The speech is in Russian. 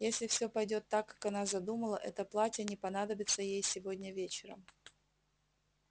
если всё пойдёт так как она задумала это платье не понадобится ей сегодня вечером